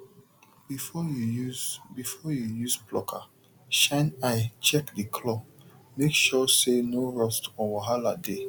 before you use before you use plucker shine eye check the clawmake sure say no rust or wahala dey